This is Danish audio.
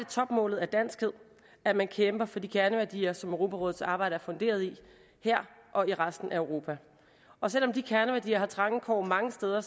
topmålet af danskhed at man kæmper for de kerneværdier som europarådets arbejde er funderet i her og i resten af europa og selv om de kerneværdier har trange kår mange steder